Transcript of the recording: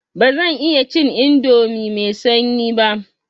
Ba zan iya cin indomi mai sanyi ba.